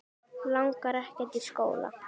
Langar ekkert í skóla.